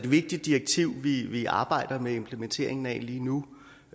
vigtigt direktiv vi vi arbejder med implementeringen af lige nu